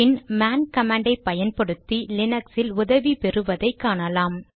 பின் man கமாண்டை பயன்படுத்தி லினக்ஸில் உதவி பெறுவதை காணலாம்